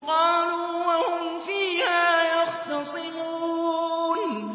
قَالُوا وَهُمْ فِيهَا يَخْتَصِمُونَ